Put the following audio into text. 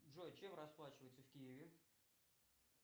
джой чем расплачиваются в киеве